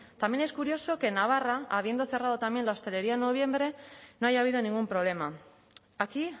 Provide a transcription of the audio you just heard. también es curioso que en navarra habiendo cerrado también la hostelería en noviembre no haya habido ningún problema aquí